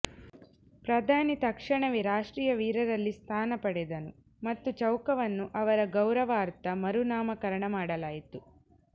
ಪ್ರಧಾನಿ ತಕ್ಷಣವೇ ರಾಷ್ಟ್ರೀಯ ವೀರರಲ್ಲಿ ಸ್ಥಾನ ಪಡೆದನು ಮತ್ತು ಚೌಕವನ್ನು ಅವರ ಗೌರವಾರ್ಥ ಮರುನಾಮಕರಣ ಮಾಡಲಾಯಿತು